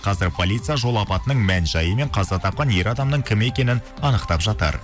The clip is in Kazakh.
қазір полиция жол апатының мән жайы мен қаза тапқан ер адамның кім екенін анықтап жатыр